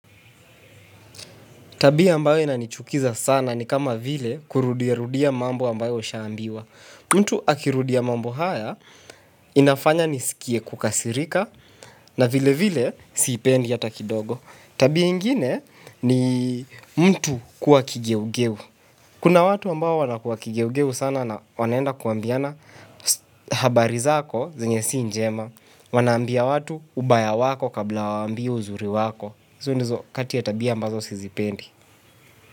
Tabia ambayo inanichukiza sana ni kama vile kurudia rudia mambo ambayo ushaambiwa. Mtu akirudia mambo haya inafanya niskie kukasirika, na vilevile, siipendi hata kidogo. Tabia ingine ni mtu kuwa kigeugeu. Kuna watu ambao wanakuwa kigeugeu sana na wanaenda kuambiana habari zako zenye si njema. Wanaambia watu ubaya wako kabla wawaambie uzuri wako. Hizi ndizo kati ya tabia ambazo sizipendi.